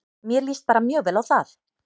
Mér líst bara mjög vel á það.